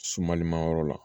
Sumaliman yɔrɔ la